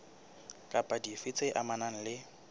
kapa dife tse amanang le